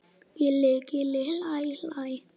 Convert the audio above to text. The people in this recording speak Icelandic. Gilli gilli hlæ hlæ.